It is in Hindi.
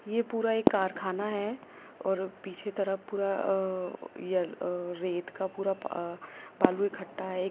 ये पूरा एक कारखाना है और पीछे तरफ पूरा या य अ रेत का पूरा बालू इखट्टा है।